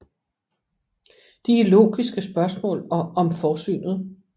De er Logiske spørgsmål og Om forsynet